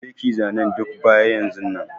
Je ki zanen duk baya yanzun nan.